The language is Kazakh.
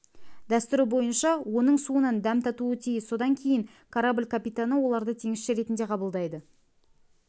дәстүрі бойынша оның суынан дәм татуы тиіс содан кейін корабль капитаны оларды теңізші ретінде қабылдайды